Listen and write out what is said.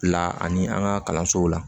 La ani an ka kalansow la